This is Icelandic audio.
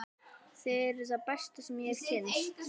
Þið eruð það besta sem ég hef kynnst.